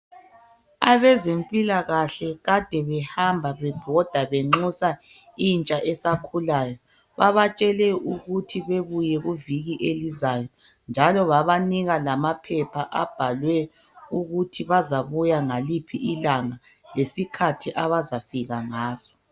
Abezempilakahle kade behambe bebhoda benxusa intsha esakhulayo babatshele ukuthi bebuye kuviki elizayo njalo babanika lamaphepha okuthi bazabuya ngaliphi ilanga lesikhathi abazafika ngaso.